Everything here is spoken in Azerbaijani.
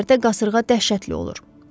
Bu yerlərdə qasırğa dəhşətli olur.